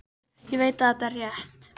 Ég veit að þetta er rétt.